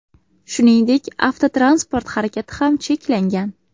Shuningdek, avtotransport harakati ham cheklangan .